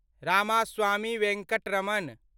Ramaswamy Venkataramana